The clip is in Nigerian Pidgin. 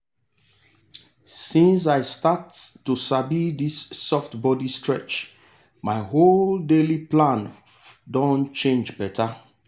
since i start to sabi this soft body stretch my whole daily plan don change better.